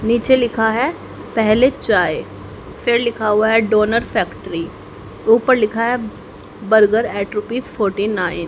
नीचे लिखा है पहले चाय फिर लिखा हुआ है डोनर फैक्ट्री ऊपर लिखा है burger eight rupees forty nine --